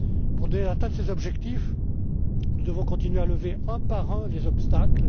croissance. Pour atteindre ces objectifs, nous devons continuer à lever un par un les